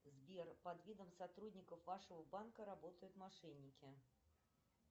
сбер под видом сотрудников вашего банка работают мошенники